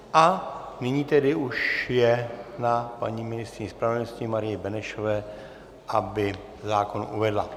A nyní tedy už je na paní ministryni spravedlnosti Marii Benešové, aby zákon uvedla.